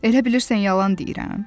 Elə bilirsən yalan deyirəm?